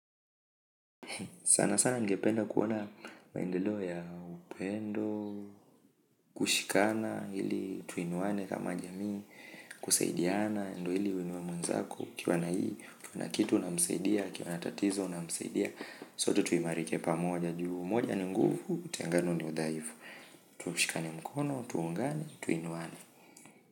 Sana sana ningependa kuona maendeleo ya upendo, kushikana, ili tuinuane kama jamii, kusaidiana, ndio ili uinuwe mwenzako, ukiwa na hii, ukiwa na kitu unamsaidia, akiwa na tatizo unamsaidia, sote tuimarike pamoja juu, moja ni nguvu, utengano ni udhaifu, tushikane mkono, tuungane, tuinuwane.